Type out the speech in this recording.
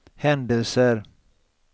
händelser